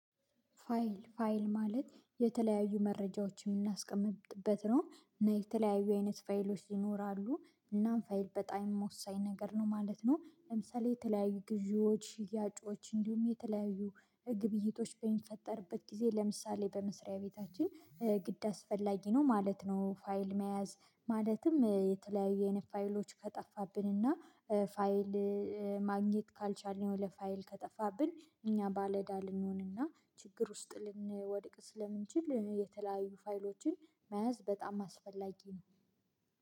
ፋይል ፋይል ማለት የተለያዩ መረጃዎችን እምናስቀምጥበት ነው እና የተለያዩ አይነት ፋይሎች ይኖራሉ እናም ፋይል በጣም የምወሳኝ ነገር ነው ማለት ነው። ለምሳሌ የተለያዩ ግዢዎች ሽያጮች እንዲሁም የተለያዩ ግብይቶች በሚፈጠርበት ጊዜ ለምሳሌ በመስሪያ ቤታችን ግድ አስፈላጊ ነው ማለት ነው። ፋይል መያዝ ማለትም የተለያዩ አይነት ፋይሎች ከጠፋብን እና ፋይል ማግኘት ካልቻልን የሆነ ፋይል ከጠፋብን እኛ ባለዕዳ ልንሆንና ችግር ውስጥ ልንወድቅ ስለምንችል የተለያዩ ፋይሎችን መያዝ በጣም አስፈላጊ ነው።